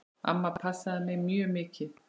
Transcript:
Amma passaði mig mjög mikið.